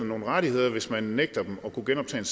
nogle rettigheder hvis man nægter dem at kunne genoptage